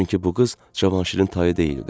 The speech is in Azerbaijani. Çünki bu qız Cavanşirin tayı deyildi.